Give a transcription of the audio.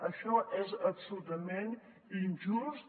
això és absolutament injust